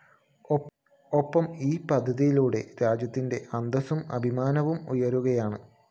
ഒപ്പം ഈ പദ്ധതിയിലൂടെ രാജ്യത്തിന്റെ അന്തസ്സും അഭിമാനവും ഉയരുകയാണ്